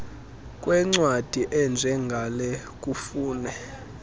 kwencwadi enjengale kufune